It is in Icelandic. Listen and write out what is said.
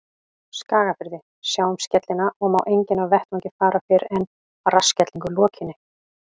Skagafirði, sjá um skellina, og má enginn af vettvangi fara fyrr en að rassskellingu lokinni.